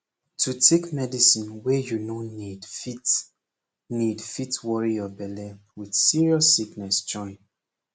to take medicine wey you no need fit need fit worry your belle with serious sickness join